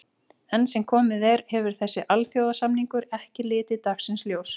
Enn sem komið er hefur þessi alþjóðasamningur ekki litið dagsins ljós.